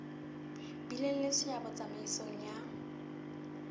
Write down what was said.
bileng le seabo tsamaisong ya